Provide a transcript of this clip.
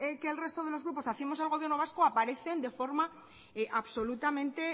que el resto de los grupos hacemos al gobierno vasco aparecen de forma absolutamente